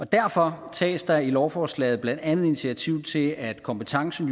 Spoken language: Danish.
derfor tages der er i lovforslaget blandt andet initiativ til at kompetencen